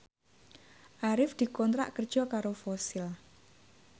Arif dikontrak kerja karo Fossil